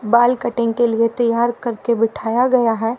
बाल कटिंग के लिए तैयार करके बिठाया गया है।